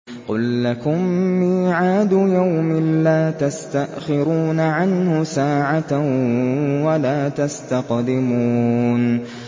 قُل لَّكُم مِّيعَادُ يَوْمٍ لَّا تَسْتَأْخِرُونَ عَنْهُ سَاعَةً وَلَا تَسْتَقْدِمُونَ